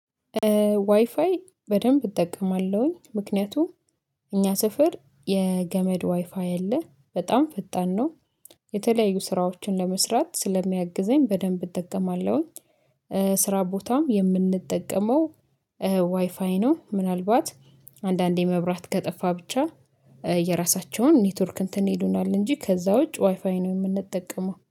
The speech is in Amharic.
ዋይፋይ በደንብ እጠቀማለሁኝ ምክንያቱም እኛ ስፍር የገመድ ዋይፋይ አለ በጣም ፍጣን ነው የተለያዩ ስራዎችን ለመስራት ስለሚያግዘኝ በደንብ እጠቀማለሁኝ። ስራ ቦታም የምንጠቀመው ዋይፋይ ነው ምናልባት አንዳንዴ መብራት ከጠፋ ብቻ የራሳቸውን ኔትወርክ እንትን ይሉናል እንጂ ከዛ ውጭ ዋይፋይ ነው የምንጠቀመው